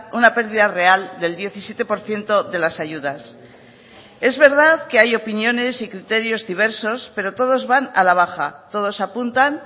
una pérdida real del diecisiete por ciento de las ayudas es verdad que hay opiniones y criterios diversos pero todos van a la baja todos apuntan